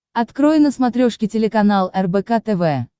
открой на смотрешке телеканал рбк тв